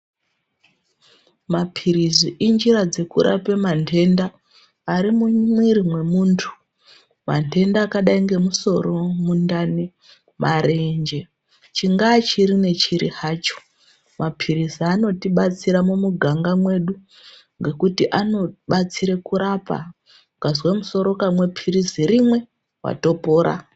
Mapirizi injira dzekurape mantenda ari mumwiri mwemuntu. Mantenda akadai ngemusoro, mundani, marenje, chingaa chiri nechiri hacho, mapirizi anotibatsira mumuganga medu ngekuti anobatsire kurapa, ukazwa musoro ukamwa pirizi rimwe, watopora.